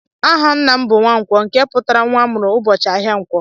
Aha ńnà m bụ "Nwankwó"nke pụtara nwa amụrụ ụbọchị áhiá nkwo.